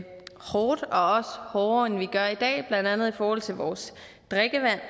hårdt og også hårdere end vi gør i dag blandt andet i forhold til vores drikkevand